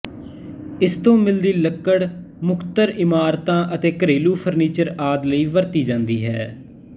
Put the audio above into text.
ਇਸ ਤੋਂ ਮਿਲਦੀ ਲੱਕੜ ਮੁੱਖਤਰ ਇਮਾਰਤਾਂ ਅਤੇ ਘਰੇਲੂ ਫ਼ਰਨੀਚਰ ਆਦਿ ਲਈ ਵਰਤੀ ਜਾਂਦੀ ਹੈ